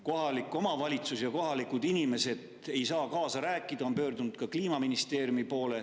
Kohalik omavalitsus ja kohalikud inimesed ei saa kaasa rääkida, nad on pöördunud ka Kliimaministeeriumi poole.